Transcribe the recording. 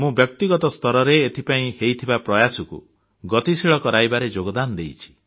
ମୁଁ ବ୍ୟକ୍ତିଗତ ସ୍ତରରେ ଏଥିପାଇଁ ହେଉଥିବା ପ୍ରୟାସକୁ ଗତିଶୀଳ କରାଇବାରେ ଯୋଗଦାନ ଦେଇଛି